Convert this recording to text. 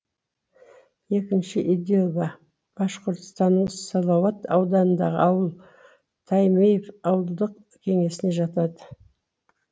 екінші идельба башқұртстанның салауат ауданындағы ауыл таймеев ауылдық кеңесіне жатады